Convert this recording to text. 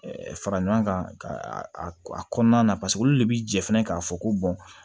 fara ɲɔgɔn kan ka kɔnɔna na olu de bi jɛ fɛnɛ k'a fɔ ko